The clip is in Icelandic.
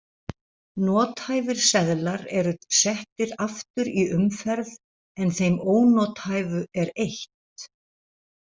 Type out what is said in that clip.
Nothæfir seðlar eru settir aftur í umferð en þeim ónothæfu er eytt.